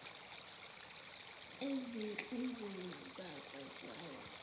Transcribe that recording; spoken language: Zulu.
ezinhlizweni zazo zawa